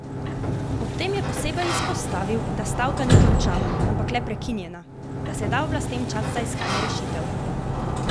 Ob tem je posebej izpostavil, da stavka ni končana, ampak le prekinjena, da se da oblastem čas za iskanje rešitve.